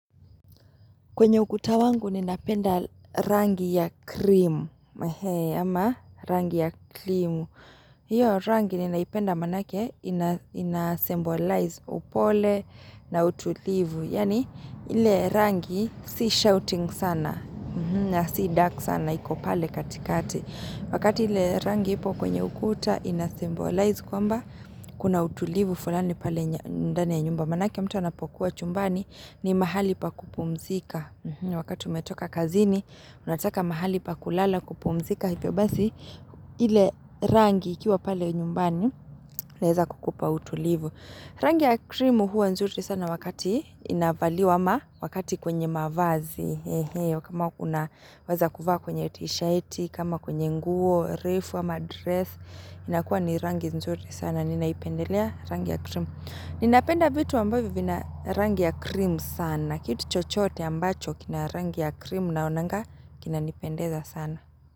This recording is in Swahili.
Kwenye ukuta wangu, ninapenda rangi ya krimu. Mahe, ama rangi ya krimu. Hiyo rangi, ninaipenda manake, inasembolize upole na utulivu. Yani, ile rangi, si shouting sana, na si dark sana, iko pale katikati. Wakati ile rangi ipo, kwenye ukuta, inasembolize kwamba, kuna utulivu fulani pale ndani ya nyumba. Manake mtu anapokuwa chumbani ni mahali pa kupumzika Wakati umetoka kazini, unataka mahali pa kulala kupumzika Hivyo basi, ile rangi ikiwa pale nyumbani leza kukupa utulivu Rangi ya krimu hua nzuri sana wakati inavaliwa ama wakati kwenye mavazi kama kuna weza kuvaa kwenye tisheti, kama kwenye nguo, refu ama dress inakua ni rangi nzuri sana, ninaipendelea rangi ya krimu Ninapenda vitu ambavo vina rangi ya krim sana. Kitu chochoote ambacho kina rangi ya krim naonanga kinanipendeza sana.